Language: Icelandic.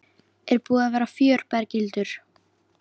Er búið að vera fjör Berghildur?